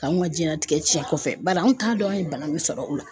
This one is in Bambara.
K'anw ka jiyɛnlatigɛ cɛn kɔfɛ bari anw t'a dɔn an ye bana min sɔrɔ o la.